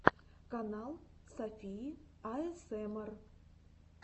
канал софии аэсэмар